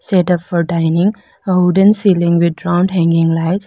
Setup for dining a wooden ceiling with round hanging lights.